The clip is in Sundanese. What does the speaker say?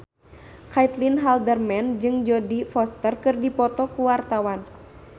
Caitlin Halderman jeung Jodie Foster keur dipoto ku wartawan